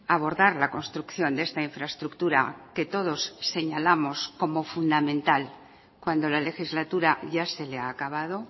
abordar la construcción de esta infraestructura que todos señalamos como fundamental cuando la legislatura ya se le ha acabado